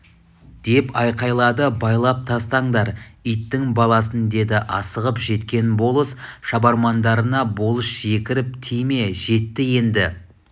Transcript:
деп айқайлады байлап тастаңдар иттің баласын деді асығып жеткен болыс шабармандарына болыс жекіріп тиме жетті енді